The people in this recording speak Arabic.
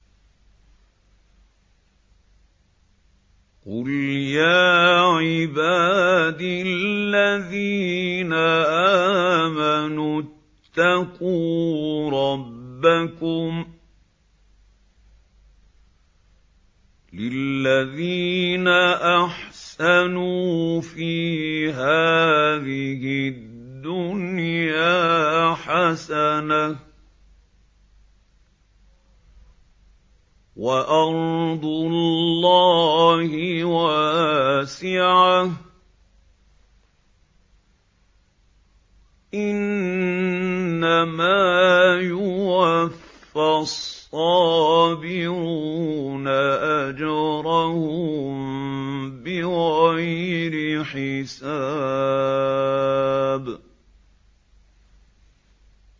قُلْ يَا عِبَادِ الَّذِينَ آمَنُوا اتَّقُوا رَبَّكُمْ ۚ لِلَّذِينَ أَحْسَنُوا فِي هَٰذِهِ الدُّنْيَا حَسَنَةٌ ۗ وَأَرْضُ اللَّهِ وَاسِعَةٌ ۗ إِنَّمَا يُوَفَّى الصَّابِرُونَ أَجْرَهُم بِغَيْرِ حِسَابٍ